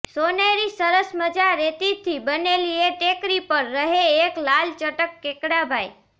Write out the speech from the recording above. સોનેરી સરસ મજા રેતીથી બનેલી એ ટેકરી પર રહે એક લાલચટક કેકડાભાઈ